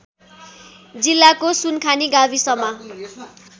जिल्लाको सुनखानी गाविसमा